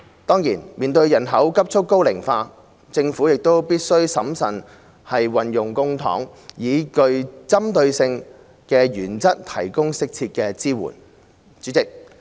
當然，面對人口急促高齡化，政府亦必須審慎運用公帑，以具針對性的原則提供適切的支援。